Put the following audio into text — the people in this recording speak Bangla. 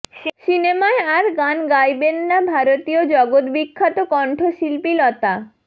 সিনেমায় আর গান গাইবেন না ভারতীয় জগদ্বিখ্যাত কণ্ঠশিল্পী লতা